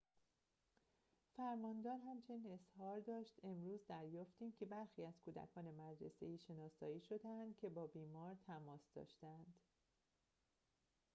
فرماندار همچنین اظهار داشت امروز دریافتیم که برخی از کودکان مدرسه‌ای شناسایی شده‌اند که با بیمار تماس داشته‌اند